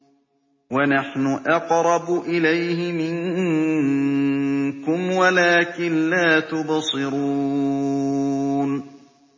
وَنَحْنُ أَقْرَبُ إِلَيْهِ مِنكُمْ وَلَٰكِن لَّا تُبْصِرُونَ